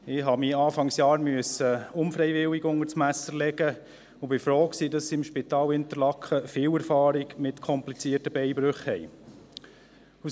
Ich musste mich Anfang Jahr unfreiwillig unters Messer legen und war froh, dass sie im Spital Interlaken viel Erfahrung mit komplizierten Beinbrüchen haben.